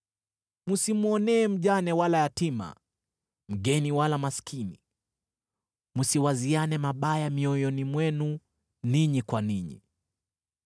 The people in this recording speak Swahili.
Msimwonee mjane wala yatima, mgeni wala maskini. Msiwaziane mabaya mioyoni mwenu ninyi kwa ninyi.’